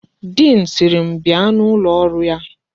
Diin sịrị m bia n'ụlọ ọrụ ya.